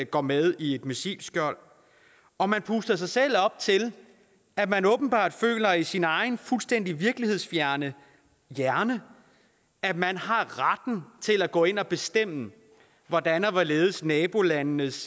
går med i et missilskjold og man puster sig selv op til at man åbenbart føler i sin egen fuldstændig virkelighedsfjerne hjerne at man har retten til at gå ind og bestemme hvordan og hvorledes nabolandenes